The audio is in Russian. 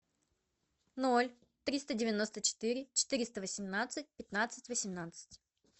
ноль триста девяносто четыре четыреста восемнадцать пятнадцать восемнадцать